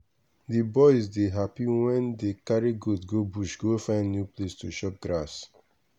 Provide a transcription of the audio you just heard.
the boys dey happy wen dey carry goat go bush go find new place to chop grass